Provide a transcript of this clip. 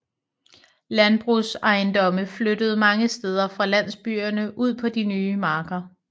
Landbrugsejendomme flyttede mange steder fra landsbyerne ud på de nye marker